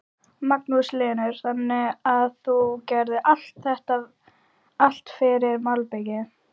Magnús Hlynur: Þannig að þú gerir allt fyrir malbikið?